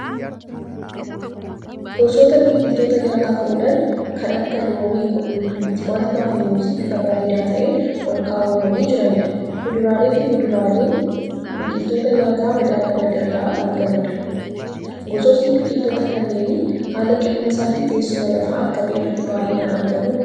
Gosoota biqiltootaa nyaataaf oolan kan akka; loomii, qullubbii, timaatimaa fi muuzii bifa bareedaa ta'een olkaawwamanii jiranidha. Kuduraalee fi muduraan biqiltoota nyaata madaalamaan irraa argamudha. Gosootni biqiltoota kanneenii haala qilleensaa fi teessuma lafaa akkamii irratti baay'inaan argamu?